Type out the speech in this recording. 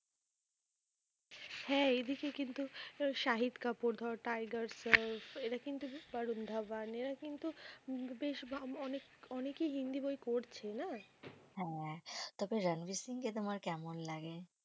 হ্যাঁ এই দিকে কিন্তু, শাহিদ কাপুর ধর টাইগার্স শ্রফ এরা কিন্তু বরুন ধাবান এরা কিন্তু বেশ অনেক অনেক অনেকেই হিন্দি বই করছে না। হ্যাঁ তবে রণবীর সিং কে তোমার কেমন লাগে?